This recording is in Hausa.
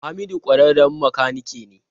Hamidu kwararren makanike ne.